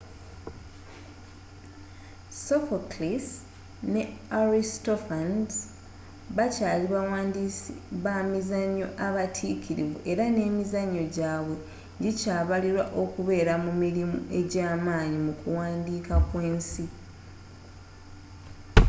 sophocles ne aristophanes bakyaali bawandiisi bamizanyo abatikirivu era nemizanyo gyaabwe gikyabalibwa okubeera mu mirimu egyamaanyi mu kuwandiika kw'ensi